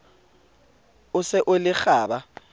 o se o le kgaba